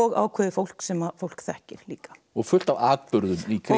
ákveðið fólk sem fólk þekkir líka og fullt af atburðum í kring